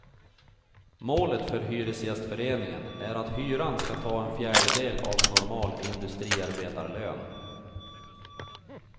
Målet för hyresgästföreningen är att hyran ska ta en fjärdedel av en normal industriarbetarlön.